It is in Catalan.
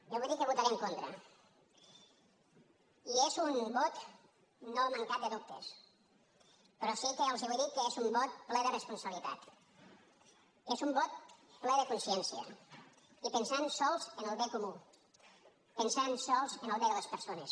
jo vull dir que hi votaré en contra i és un vot no mancat de dubtes però sí que els vull dir que és un vot ple de responsabilitat és un vot ple de consciència i pensant sols en el bé comú pensant sols en el bé de les persones